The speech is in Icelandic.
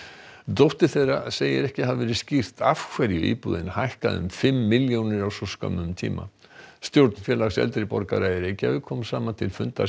dóttir þeirra segir ekki hafa verið skýrt af hverju íbúðin hækkaði um fimm milljónir á svo skömmum tíma stjórn Félags eldri borgara í Reykjavík kom saman til fundar